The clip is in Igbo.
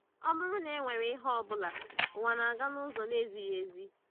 Ọ bụrụ na e nwere ihe ọ bụla, ụwa na-aga n’ụzọ na-ezighị ezi.